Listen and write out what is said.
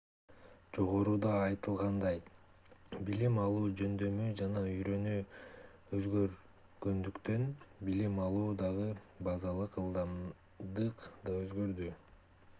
жогоруда айтылгандай билим алуу жөндөмү жана үйрөнүү өзгөргөндүктөн билим алуудагы базалык ылдымдык да өзгөрдү